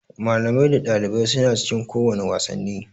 Malamai da ɗalibai suna cikin kowane wasanni